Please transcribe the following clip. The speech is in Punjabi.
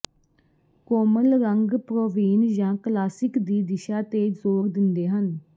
ਕੋਮਲ ਰੰਗ ਪ੍ਰੋਵੇਨ ਜਾਂ ਕਲਾਸਿਕ ਦੀ ਦਿਸ਼ਾ ਤੇ ਜ਼ੋਰ ਦਿੰਦੇ ਹਨ